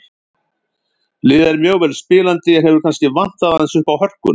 Liðið er mjög vel spilandi en hefur kannski vantað aðeins uppá hörkuna.